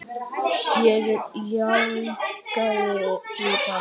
Ég jánkaði því bara.